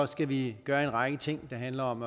skal vi gøre en række ting der handler om